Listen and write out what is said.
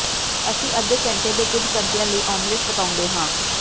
ਅਸੀਂ ਅੱਧੇ ਘੰਟੇ ਦੇ ਕੁੱਝ ਘੰਟਿਆਂ ਲਈ ਓਮੈਟਲ ਪਕਾਉਂਦੇ ਹਾਂ